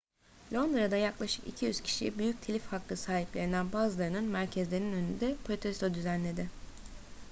londra'da yaklaşık 200 kişi büyük telif hakkı sahiplerinden bazılarının merkezlerinin önünde protesto düzenledi